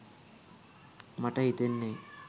මට හිතෙන්නෙ